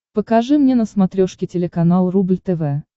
покажи мне на смотрешке телеканал рубль тв